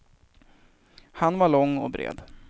Han var lång, och bred.